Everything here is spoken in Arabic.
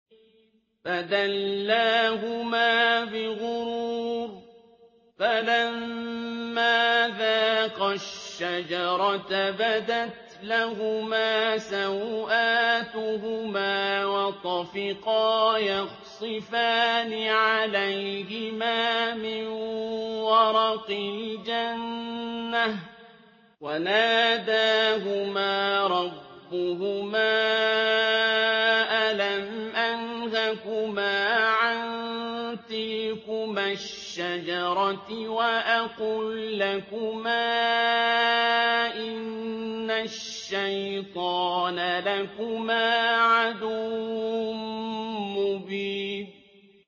فَدَلَّاهُمَا بِغُرُورٍ ۚ فَلَمَّا ذَاقَا الشَّجَرَةَ بَدَتْ لَهُمَا سَوْآتُهُمَا وَطَفِقَا يَخْصِفَانِ عَلَيْهِمَا مِن وَرَقِ الْجَنَّةِ ۖ وَنَادَاهُمَا رَبُّهُمَا أَلَمْ أَنْهَكُمَا عَن تِلْكُمَا الشَّجَرَةِ وَأَقُل لَّكُمَا إِنَّ الشَّيْطَانَ لَكُمَا عَدُوٌّ مُّبِينٌ